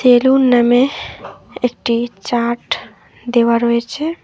Salon নামে একটি chart দেওয়া রয়েছে।